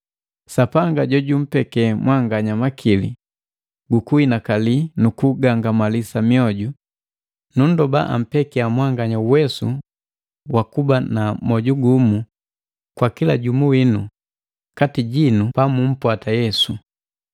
Sapanga jojumpeke mwanganya makili gukuhinakali nukugangamalisa mioju, nundoba ampekiya mwanganya uwesu wa kuba na moju gumu kwa kila jumu winu kati jinu pa mumpwata Yesu,